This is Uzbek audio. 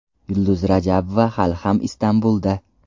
Yulduz Rajabova hali ham Istanbulda.